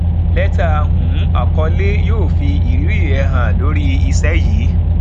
lẹtà um àkọlé yóò fi ìrírí rẹ hàn lórí iṣẹ yìí